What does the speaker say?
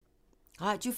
Radio 4